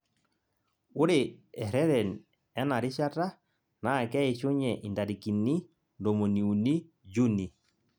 Ore ereren enarishata naa keishunye intarakini ntomoni uni juni